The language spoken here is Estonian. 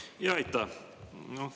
Aitäh!